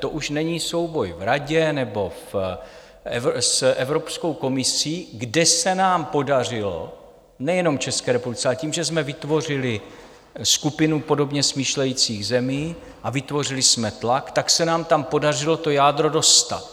To už není souboj v Radě nebo s Evropskou komisí, kde se nám podařilo, nejenom České republice, ale tím, že jsme vytvořili skupinu podobně smýšlejících zemí a vytvořili jsme tlak, tak se nám tam podařilo to jádro dostat.